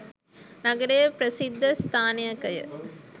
නගරයේ ප්‍රසිද්ධ ස්ථානයකය.